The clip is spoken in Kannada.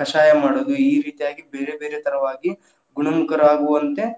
ಕಷಾಯ ಮಾಡೋದು, ಈರೀತಿಯಾಗಿ ಬೇರೆ ಬೇರೆ ತರವಾಗಿ ಗುಣಮುಖರಾಗುವಂತೆ.